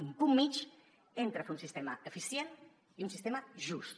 un punt mitjà entre un sistema eficient i un sistema just